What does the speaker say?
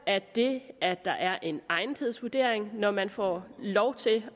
det at der er en egnethedsvurdering når man får lov til